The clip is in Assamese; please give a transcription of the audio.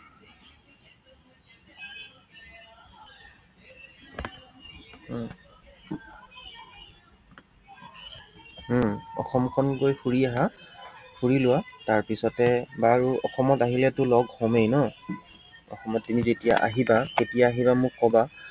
উম অসমখনতে ফুৰি আহা, ফুৰি লোৱা তাৰপিছতে বাৰু অসমত অহিলেতো লগ হমেই ন। অসমত তুমি যেতিয়া আহিবা, কেতিয়া আহিবা মোক কবা